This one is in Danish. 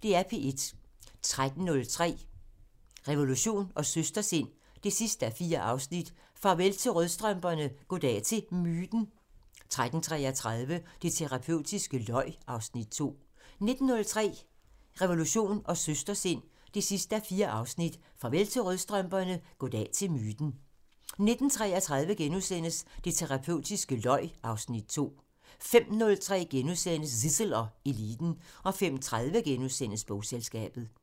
13:03: Revolution & Søstersind 4:4 Farvel til rødstrømperne, goddag til myten! 13:33: Det terapeutiske løg (Afs. 2) 19:03: Revolution & Søstersind 4:4 Farvel til rødstrømperne, goddag til myten! 19:33: Det terapeutiske løg (Afs. 2)* 05:03: Zissel og Eliten * 05:30: Bogselskabet *